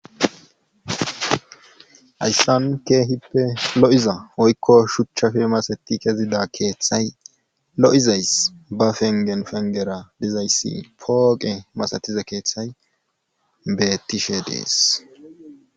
Hayssan keehippe lo7iza wpykko shuchafe masatti kezida keethay lo7izyas ba penggen penggera dizayssi pooqe masatiza keethay beettishe dees.